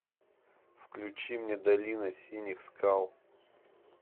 включи мне долина синих скал